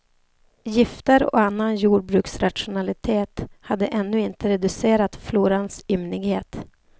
Gifter och annan jordbruksrationalitet hade ännu inte reducerat florans ymnighet.